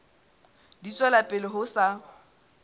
di tswela pele ho sa